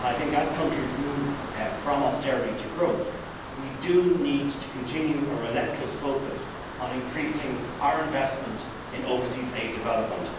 As countries move from austerity to growth, we do need to continue our relentless focus on increasing our investment in overseas development.